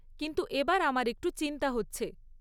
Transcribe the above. কিন্তু এবার আমার একটু চিন্তা হচ্ছে।